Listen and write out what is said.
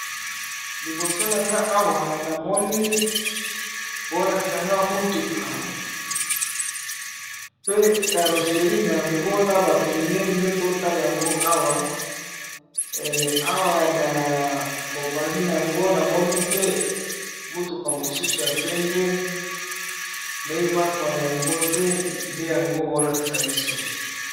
Awa tomoni mituka etelemi pene na pene kasi, moko ezali na langi ya mozinga ezali mulayi na sima.